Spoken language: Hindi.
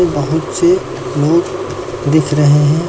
बहुत से लोग दिख रहे हैं।